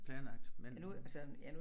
Planlagt men